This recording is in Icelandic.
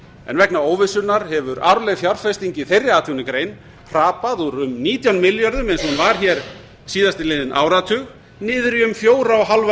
en vegna óvissunnar hefur arðbær fjárfesting í þeirri atvinnugrein hrapað úr um nítján milljörðum eins og hún var hér síðastliðinn áratug niður í um fjóra og hálfan